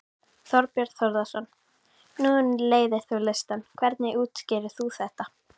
Þorbjörn Þórðarson: Nú leiðir þú listann, hvernig útskýrir þú þetta?